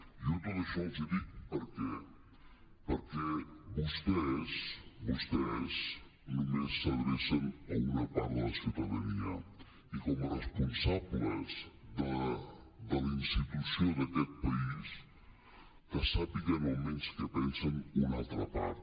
jo tot això els hi dic perquè vostès vostès només s’adrecen a una part de la ciu·tadania i com a responsables de la institució d’aquest país que sàpiguen almenys què pensa una altra part